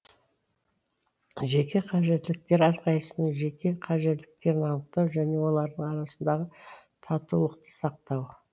жеке қажеттіліктер әрқайсысының жеке қажеттіліктерін анықтау және олардың арасындағы татулықты сақтау